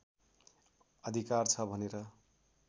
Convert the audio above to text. अधिकार छ भनेर